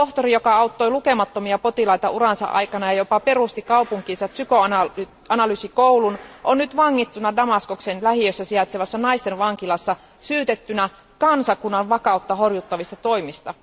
Tohtori, joka auttoi lukemattomia potilaita uransa aikana ja jopa perusti kaupunkiinsa psykoanalyysikoulun, on nyt vangittuna Damaskoksen lähiössä sijaitsevassa naisten vankilassa syytettynä kansakunnan vakautta horjuttavista toimista.